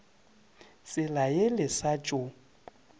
tsela ye le sa tšo